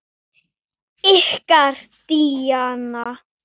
Ykkar Díana.